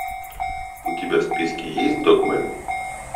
у тебя в списке есть догмэн